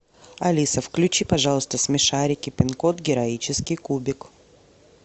алиса включи пожалуйста смешарики пин код героический кубик